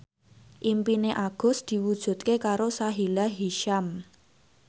impine Agus diwujudke karo Sahila Hisyam